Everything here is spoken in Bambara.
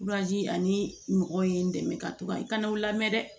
ani mɔgɔw ye n dɛmɛ ka to ka n kana u lamɛn dɛ